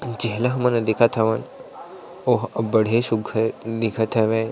जेला हमन हा देखत हवन ओहा अबबड़े सुघघर दिखत हवे।